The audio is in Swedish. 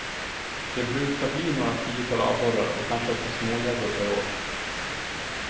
Det brukar bli några tiotal abborrar och kanske ett par smågäddor per år.